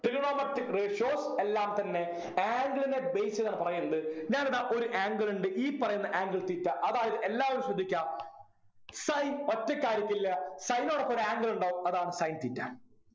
Trigonometric ratios എല്ലാം തന്നെ angle നെ base ചെയ്താണ് പറയണ്ട് ഞാനിതാ ഒരു angle ഉണ്ട് ഈ പറയുന്ന angle theta അതായത് എല്ലാവരും ശ്രദ്ധിക്കാ sin ഒറ്റക്കായിരിക്കില്ല sin നോടൊപ്പം ഒരു angle ഉണ്ടാകും അതാണ് sin theta